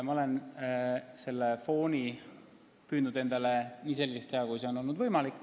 Ma olen selle fooni püüdnud endale võimalikult selgeks teha.